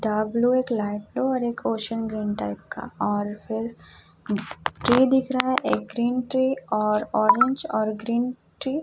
W एक लाइटों और एक ओशियन ग्रीन टाइप का और फिर ट्री दिख रहा है एक ग्रीन ट्री और ऑरेंज और ग्रीन ट्री --